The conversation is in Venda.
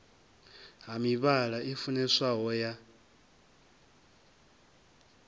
ha mivhala i funeswaho ya